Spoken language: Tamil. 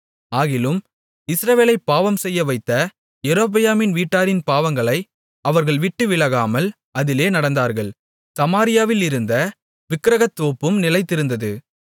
ஆகிலும் இஸ்ரவேலைப் பாவம்செய்யவைத்த யெரொபெயாம் வீட்டாரின் பாவங்களை அவர்கள்விட்டு விலகாமல் அதிலே நடந்தார்கள் சமாரியாவிலிருந்த விக்கிரகத்தோப்பும் நிலைத்திருந்தது